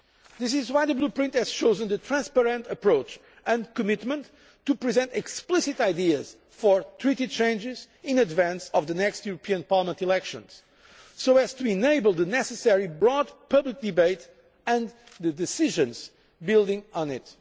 This is why the Blueprint has chosen the transparent approach and a commitment to present explicit ideas for Treaty changes in advance of the next European Parliament elections, so as to enable the necessary broad public debate and decisions building on it.